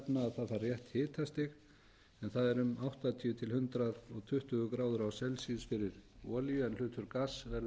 það þarf rétt hitastig en það er um áttatíu til hundrað og tuttugu gráður fyrir olíu en hlutur gass verður